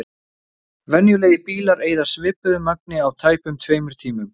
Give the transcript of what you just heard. Venjulegir bílar eyða svipuðu magni á tæpum tveimur tímum.